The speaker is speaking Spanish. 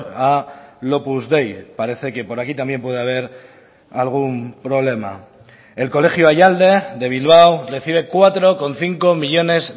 al opus dei parece que por aquí también puede haber algún problema el colegio ayalde de bilbao recibe cuatro coma cinco millónes